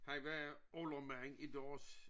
Han var oldermand i deres